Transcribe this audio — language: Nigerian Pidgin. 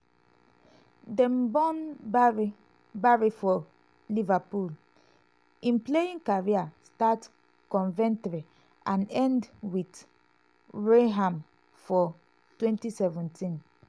dem born barry barry for liverpool im playing career start coventry and end wit wrexham for 2017.